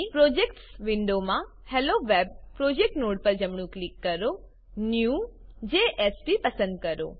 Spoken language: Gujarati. પ્રોજેક્ટ્સ વિન્ડોમાં હેલોવેબ પ્રોજેક્ટ નોડ પર જમણું ક્લિક કરો ન્યૂ જેએસપી પસંદ કરો